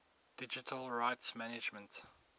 digital rights management